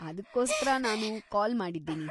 ಅದ್ಕೋಸ್ಕರ ನಾನು ಕಾಲ್‌ ಮಾಡಿದ್ದೀನಿ.